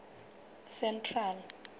central